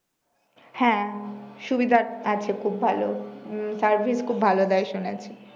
হ্যাঁ সুবিধা আ আছে খুব ভালো উম service খুব ভালো দেয় শুনেছি